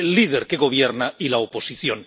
El líder que gobierna y la oposición.